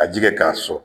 A ji kɛ k'a sɔn